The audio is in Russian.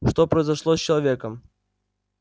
что произошло с человеком